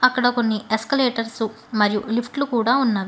అక్కడ కొన్ని ఎస్కలేటర్స్ మరియు లిఫ్ట్ లు కూడా ఉన్నవి.